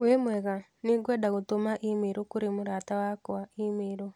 Wĩmwega nĩngwenda gũtũma i-mīrū kũrĩ mũrata wakwa i-mīrū.